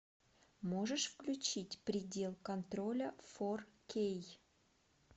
можешь включить предел контроля фор кей